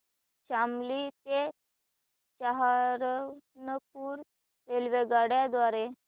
शामली ते सहारनपुर रेल्वेगाड्यां द्वारे